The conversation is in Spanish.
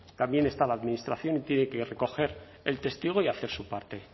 también está la administración y tiene que recoger el testigo y hacer su parte